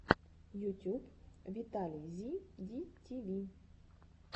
ютюб виталий зи ди ти ви